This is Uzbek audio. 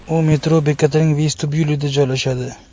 U metro bekatining vestibyulida joylashadi.